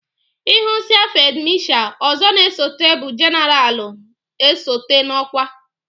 Ihusiá fid Masha ọzọ na esote bụ jeneralna esote n'okwa.